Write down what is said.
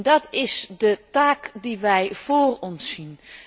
Dat is de taak die wij voor ons zien.